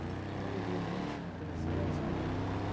Aí eu li o nome, assim, não conhecia, adicionei.